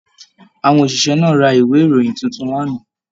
Àwọn oṣiṣẹ náà rà ìwé ìròyìn títún l'ana.